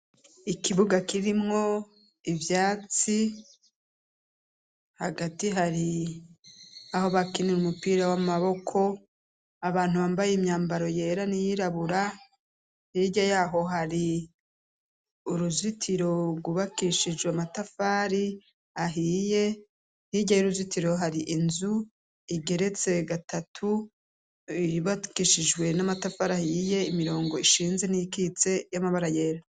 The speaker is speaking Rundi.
Ikibuga kirimwo ivyatsi hagati hari aho bakinira umupira w'amaboko abantu bambaye imyambaro yera niyirabura irya yaho hari uruzitirorubakishijwe matafari ahiye ntiryeye uruzitiro hari inzu igeretse gatatu bibatwishijwe n'amatafarahyiye imirongo ishinze n'ikitse y'amabara yera.